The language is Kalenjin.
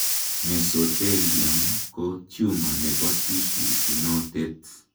mesothelium ko tumor nebo tissue inotet